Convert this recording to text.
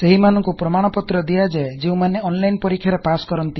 ସେହିମାନଂକୁ ପ୍ରମାଣ ପତ୍ର ଦିଆଯାଏ ଯେଉଁମାନେ ଅନଲାଇନ୍ ପରୀକ୍ଷା ରେ ପାସ୍ କରନ୍ତି